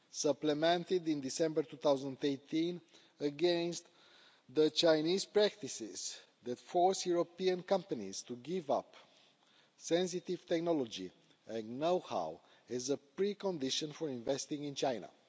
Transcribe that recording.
supplemented in December 2018, against Chinese practices that force European companies to give up sensitive technology and know-how as a precondition for investing in China.